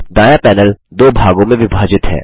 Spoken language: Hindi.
दायाँ पैनल दो भागों में विभाजित है